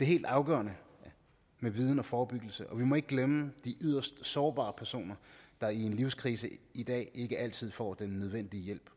helt afgørende med viden og forebyggelse og vi må ikke glemme de yderst sårbare personer der i en livskrise i dag ikke altid får den nødvendige hjælp